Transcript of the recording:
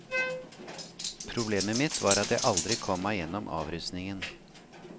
Problemet mitt var at jeg aldri kom meg gjennom avrusningen.